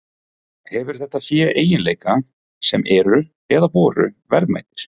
Hefur þetta fé eiginleika sem eru, eða voru, verðmætir?